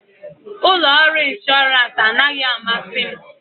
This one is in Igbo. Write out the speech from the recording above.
Ụlọ ọrụ ịnshọransị anaghị amasị m